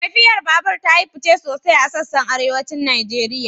Tafiyar babura ta yi fice sosai a sassan Arewacin Najeriya